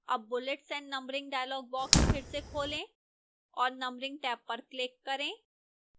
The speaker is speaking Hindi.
tab bullets and numbering dialog box फिर से खोलें और numbering टैब पर click करें